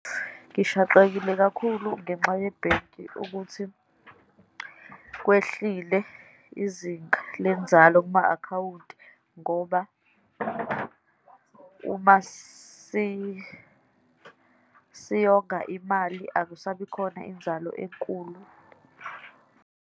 Ngishaqekile kakhulu ngenxa yebhenki, ukuthi kwehlile izinga lenzalo kuma-akhawunti, ngoba uma siyonga imali, akusabi khona inzalo enkulu.